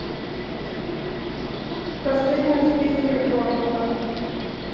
последние успехи борнмута